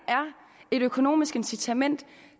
et økonomisk incitament